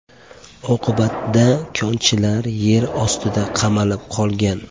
Oqibatda konchilar yer ostida qamalib qolgan.